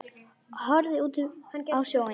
Horfði út á sjóinn.